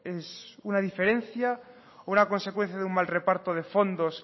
es una diferencia o una consecuencia de un mal reparto de fondos